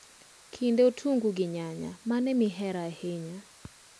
kinde otungu gi nyanya, mane mihero ahinya?